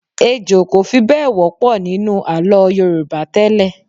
Ejò kò fi bẹ́ẹ̀ wọ́pọ̀ nínú àlọ́ Yorùbá tẹ́lẹ̀.